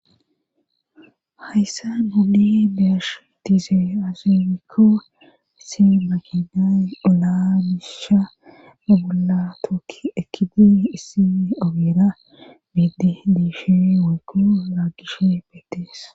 hayssan honi bearshu dise azimikko issin makinay olaa misha abola tookki ekidi issii awira biiddi diishi waykko raagishe peetees